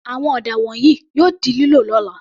Àwọn ọ̀dà wọ̀nyìí yóò di lílò ní ọ̀la.